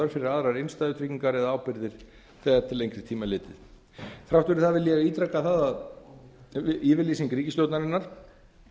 fyrir aðrar innstæðutryggingar eða ábyrgðir þegar til lengri sem er litið þrátt fyrir það vil ég ítreka það að yfirlýsing ríkisstjórnarinnar